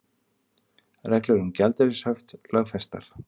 Reglur um gjaldeyrishöft lögfestar